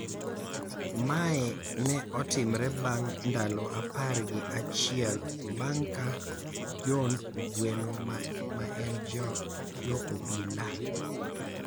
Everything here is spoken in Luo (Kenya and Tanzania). Mae ne otimore bang' ndalo apar gi achiel bang' ka John Ogweno maenjo obila,